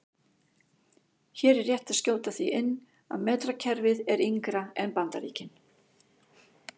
Hér er rétt að skjóta því inn að metrakerfið er yngra en Bandaríkin.